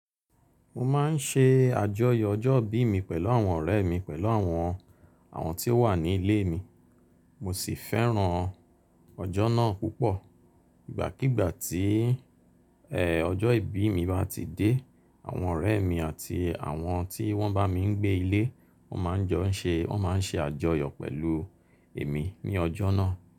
Mo máa ń ṣe àjọyọ̀ ọjọ́ ìbí mi pẹ̀lú àwọn ọ̀rẹ́ mi pẹ̀lú àwọn, àwọn tí ó wà ní ilé mi. Mo sì fẹ́ràn ọjọ́ náà púpọ̀. Ìgbàkígbà tí ẹ́, ọjọ́ ìbí mi bá ti dé, àwọn ọ̀rẹ́ mi àti àwọn tí wọ́n bá mi ń gbé ilé, wọ́n máa ń jọ ń ṣe, wọ́n máa ń ṣe àjọyọ̀ pẹ̀lú èmi ní ọjọ́ náà.